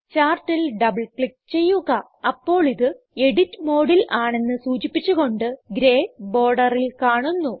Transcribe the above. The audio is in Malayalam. ചാർട്ടിൽ ഡബിൾ ക്ലിക്ക് ചെയ്യുക അപ്പോൾ ഇത് എഡിറ്റ് മോഡിൽ ആണെന്ന് സൂചിപ്പിച്ച് കൊണ്ട് ഗ്രേ ബോർഡറിൽ കാണുന്നു